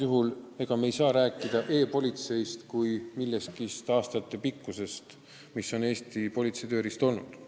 Me ei saa siin rääkida e-politseist kui aastaid töötanud Eesti politsei tööriistast.